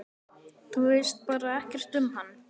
Þú veist bara ekkert um hann?